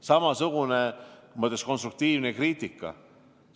Samasugune konstruktiivne kriitika.